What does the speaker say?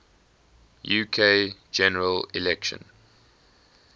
uk general election